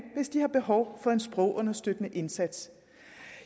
hvis de har behov for en sprogunderstøttende indsats